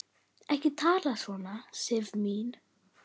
Ekki tala svona, Sif mín!